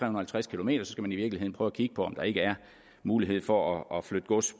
og halvtreds km skal man i virkeligheden prøve at kigge på om der ikke er mulighed for at flytte gods